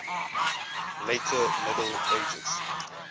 later middle ages